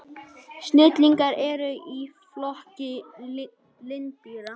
Sniglar eru í flokki lindýra.